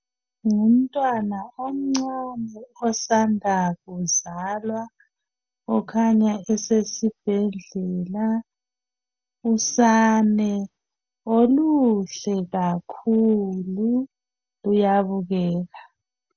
Ngumntwana omncane osanda kuzalwa okhanya sesibhedlela. Usane okuhle kakhulu luyabukeka.